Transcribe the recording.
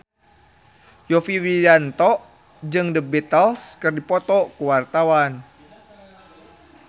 Yovie Widianto jeung The Beatles keur dipoto ku wartawan